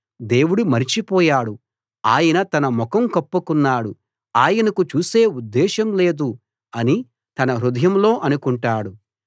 దేవుడు మరచిపోయాడు ఆయన తన ముఖం కప్పుకున్నాడు ఆయనకు చూసే ఉద్దేశం లేదు అని తన హృదయంలో అనుకుంటాడు